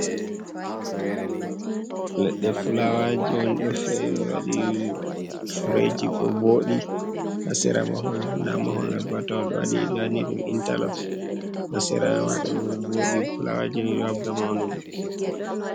Leɗɗe filaawaaji on, ɗo fee waɗi "mbeeji" ɗo vooɗi. Ha sera mahol, ndaa mahol man boo a tawa ɗo waɗi ɓe waɗini ɗum "intalop", ha sera may ma ɗo vooɗi, filaawaaji may ɗo habda mawnugo ɗi ɗo vooɗi.